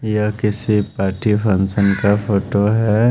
यहां किसी party function का फोटो है।